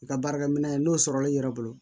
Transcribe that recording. I ka baarakɛminɛn n'o sɔrɔla i yɛrɛ bolo